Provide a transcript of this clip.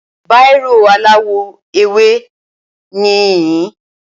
Bírò aláwọ̀-ewé níyìn